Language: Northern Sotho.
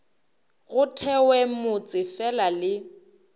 go thewe motse fela le